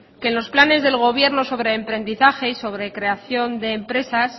que en los planes del gobierno sobre emprendizaje y sobre creación de empresas